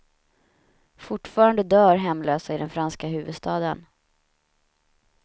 Fortfarande dör hemlösa i den franska huvudstaden.